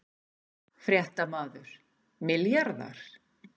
Fréttamaður: Milljarðar?